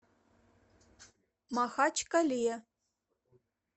махачкале